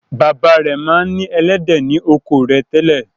Bàbá rẹ̀ ma ń ní “ ẹlẹ́dẹ̀ ” ni oko rẹ̀ tẹ́lẹ̀.